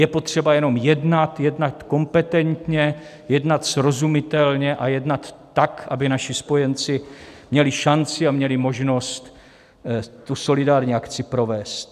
Je potřeba jenom jednat, jednat kompetentně, jednat srozumitelně a jednat tak, aby naši spojenci měli šanci a měli možnost tu solidární akci provést.